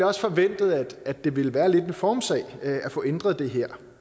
også forventet at det ville være lidt en formssag at få ændret det her